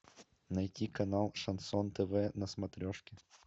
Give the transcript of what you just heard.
найти канал шансон тв на смотрешке